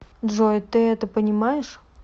джой ты это понимаешь